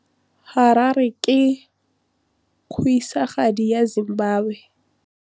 Harare ke kgosigadi ya Zimbabwe.